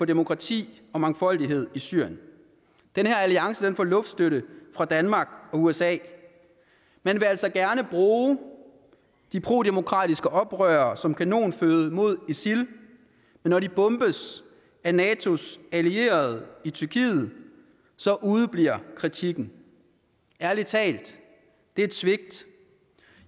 demokrati og mangfoldighed i syrien den her alliance får luftstøtte fra danmark og usa man vil altså gerne bruge de prodemokratiske oprørere som kanonføde mod isil men når de bombes af natos allierede i tyrkiet så udebliver kritikken ærlig talt det er et svigt